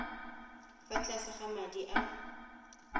fa tlase ga madi a